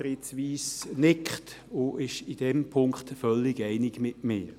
Fritz Wyss nickt und ist in diesem Punkt völlig einig mit mir.